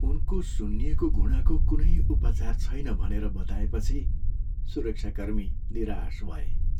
उनको सुन्निएको घुँडाको कुनै उपचार छैन भनेर बताएपछि सुरक्षाकर्मी निराश भए।